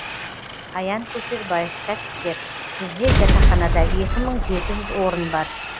аян көшербаев кәсіпкер бізде жатақханада екі мың жеті жүз орын бар